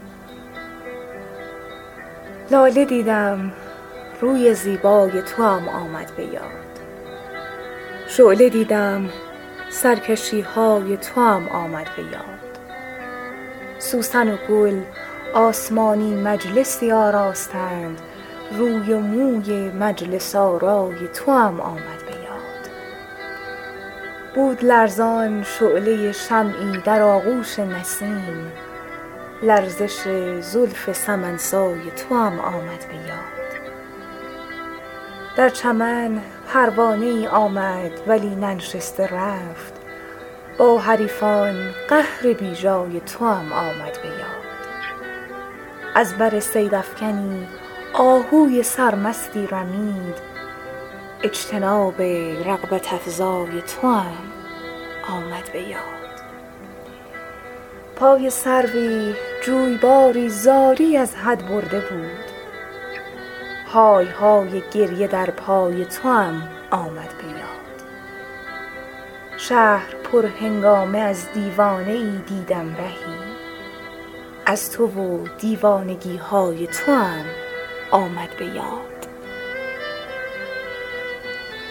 لاله دیدم روی زیبای توام آمد به یاد شعله دیدم سرکشی های توام آمد به یاد سوسن و گل آسمانی مجلسی آراستند روی و موی مجلس آرای توام آمد به یاد بود لرزان شعله شمعی در آغوش نسیم لرزش زلف سمن سای توام آمد به یاد در چمن پروانه ای آمد ولی ننشسته رفت با حریفان قهر بی جای توام آمد به یاد از بر صیدافکنی آهوی سرمستی رمید اجتناب رغبت افزای توام آمد به یاد پای سروی جویباری زاری از حد برده بود های های گریه در پای توام آمد به یاد شهر پرهنگامه از دیوانه ای دیدم رهی از تو و دیوانگی های توام آمد به یاد